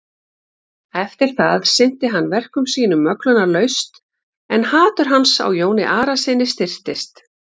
Eftir það sinnti hann verkum sínum möglunarlaust en hatur hans á Jóni Arasyni styrktist.